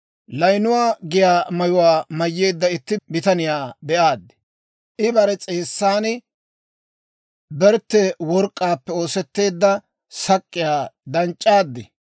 layinuwaa giyaa mayuwaa mayyeedda itti bitaniyaa be'aad. I bare s'eessan bertte work'k'aappe oosetteedda sak'k'iyaa danc'c'eedda.